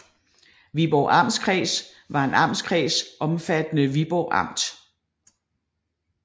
Viborg Amtskreds var en amtskreds omfattende Viborg Amt